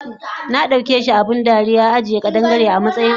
Nadaukeshi abun dariya ajiye ƙadan-Gare amatsayin abunso